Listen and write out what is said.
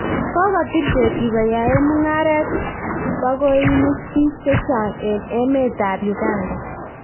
Kokotil ketik koyae mungaretab bakoinik bik chechang eng emet ab Uganda.